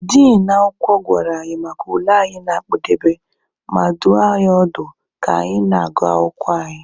Din akwụkwọ gwara anyị maka ule anyị na-akpụdebe, ma dụọ anyị ọdụ ka anyị na-agụ akwụkwọ anyị.